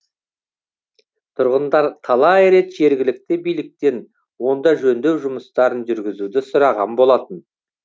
тұрғындар талай рет жергілікті биліктен онда жөндеу жұмыстарын жүргізуді сұраған болатын